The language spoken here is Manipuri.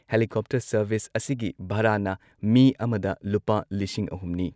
ꯍꯦꯂꯤꯀꯣꯞꯇꯔ ꯁꯔꯚꯤꯁ, ꯑꯍꯨꯝꯅꯤ ꯑꯁꯤꯒꯤ ꯚꯥꯔꯥꯅ ꯃꯤ ꯑꯃꯗ ꯂꯨꯄꯥ ꯂꯤꯁꯤꯡ ꯑꯍꯨꯝ ꯅꯤ ꯫